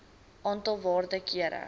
aantal waarde kere